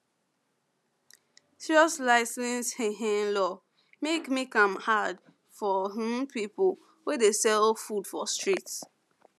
serious license um law make make am hard for um people wey dey sell um for street